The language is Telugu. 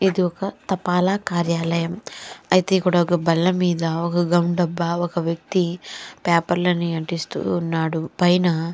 ఇది ఒక తపాలా కార్యాలయం అయితే కూడా ఒక బాలా మీద ఒక గం డబ్బా ఒక వ్యక్తి పేపర్ లని అంటిస్తూ ఉన్నాడు పైన --